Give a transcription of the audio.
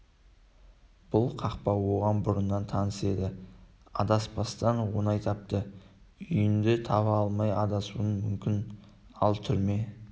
бұл қақпа оған бұрыннан таныс еді адаспастан оңай тапты үйіңді таба алмай адасуың мүмкін ал түрме